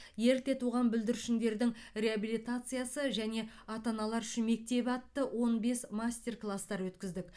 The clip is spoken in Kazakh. ерте туған бүлдіршіндердің реабилитациясы және ата аналар үшін мектебі атты он бес мастер кластар өткіздік